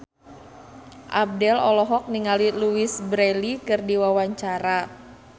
Abdel olohok ningali Louise Brealey keur diwawancara